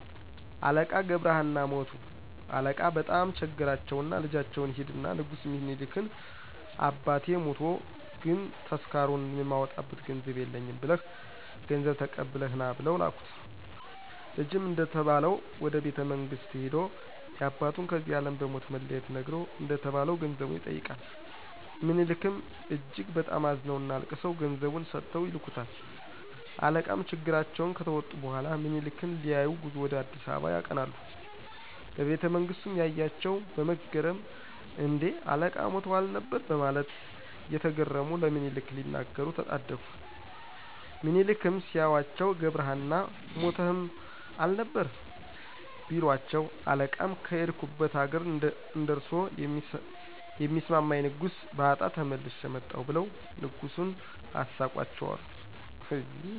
አለቃ ገብረ ሃና ሞቱ አለቃ በጣም ቸገራቸውና ልጃቸውን ሂድና ንጉስ ሚኒሊክን አባቴ ሞቶ ግን ተስካሩን የማወጣበት ገንዘብ የለኝም ብለህ ገንዘብ ተቀብለህ ና ብለው ላኩት። ልጅም እንደተባለው ወደ ቤተመንግስት ሂዶ ያባቱን ከዚህ አለም በሞት መለየት ነግሮ እንደተባለው ገንዘቡን ይጠይቃል። ምኒሊክም እጅግ በጣም አዝነውና አልቅሰው ገንዘቡን ሰጥተው ይልኩታል። አለቃም ችግራቸውን ከተወጡ በኋላ ምኒሊክን ሊያዪ ጉዞ ወደ አ.አ. ያቀናሉ። በቤተመንግስቱም ያያቸው በመገረም እን...ዴ? አለቃ ሞተው አልነበር በማለት እየተገረሙ ለምኒሊክ ሊነግሩ ተጣደፉ። ሚኒሊክም ሲያዩአቸው ገብረሀና ሞተህም አልነበር? ቢሏቸው አለቃም ከሄድኩበት አገር እንደርሶ የሚስማማኝ ንጉስ ባጣ ተመልሼ መጣሁ ብለው ንጉሱን አሳቋቸው አሉ።